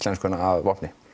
íslenskuna að vopni